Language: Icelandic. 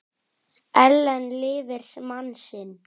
Ellen lifir mann sinn.